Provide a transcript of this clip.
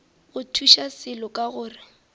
go thuše selo ka gore